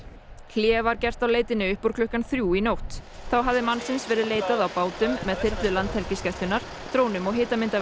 hlé var gert á leitinni upp úr klukkan þrjú í nótt þá hafði mannsins verið leitað á bátum með þyrlu Landhelgisgæslunnar drónum og